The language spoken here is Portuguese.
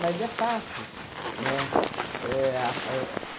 Mas é fácil, né? Éh a éh